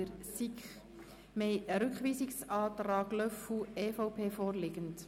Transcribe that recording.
Es liegt ein Rückweisungsantrag von Grossrat Löffel-Wenger vor.